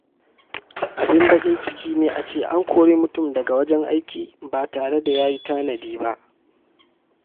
Duk wani mai hankali yana tanadi don gujewa ruɗani a lokacin larura.